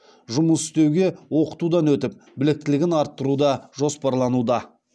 жұмыс істеуге оқытудан өтіп біліктілігін арттыру да жоспарлануда